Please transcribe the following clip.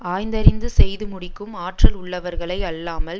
ஆய்ந்தறிந்து செய்து முடிக்கும் ஆற்றல் உள்ளவர்களை அல்லாமல்